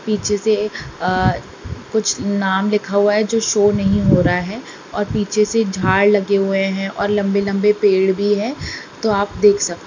पीछे से अ कुछ नाम लिखा हुआ है जो शो नहीं हो रहा हैं और पीछे से झाड़ लगे हुए हैं और लम्बे लम्बे पेड़ भी हैं तो आप देख सक--